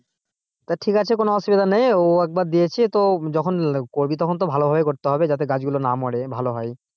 তা ঠিক আছে কোন অসুবিধা নেই ও একবার দিয়েছি তো যখন করবি তো তখন ভালো ভাবে করতে হবে যাতে গাছ গুলোর না মরে ভালো হয়।